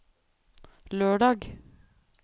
lørdag